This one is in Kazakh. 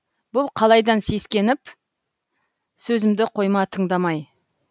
бұл қалайдан сескеніп сөзімді қойма тыңдамай